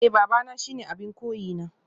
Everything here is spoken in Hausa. Eh babana shine abin koyina